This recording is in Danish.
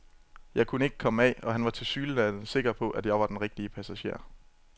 Jeg kunne ikke komme af, og han var tilsyneladende sikker på, at jeg var den rigtige passager.